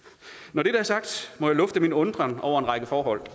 når dette er sagt må jeg lufte min undren over en række forhold